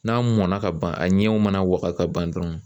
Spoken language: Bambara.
'a mɔnna ka ban, a ɲɛw mana waga ka ban dɔrɔnw.